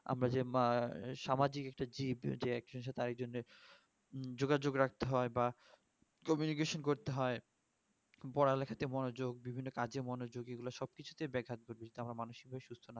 আমরা যে মা ~সামাজিক একটা জীব যে যোগাযোগ রাখতে হয় বা communication করতে হয় পড়া লিখা তে মনোযোগ বিভিন্ন কাজে মনোযোগী এই গুলো সব কিছু কেই দেখা দরকার